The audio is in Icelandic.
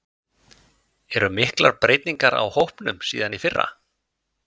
Eru miklar breytingar á hópnum síðan í fyrra?